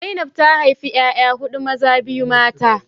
Zainab ta haifi 'ya'ya hudu, maza biyu mata